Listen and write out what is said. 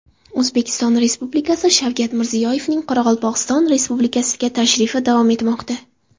O‘zbekiston Prezidenti Shavkat Mirziyoyevning Qoraqalpog‘iston Respublikasiga tashrifi davom etmoqda.